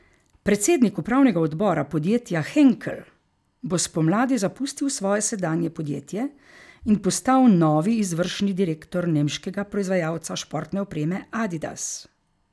Predsednik upravnega odbora podjetja Henkel bo spomladi zapustil svoje sedanje podjetje in postal novi izvršni direktor nemškega proizvajalca športne opreme Adidas.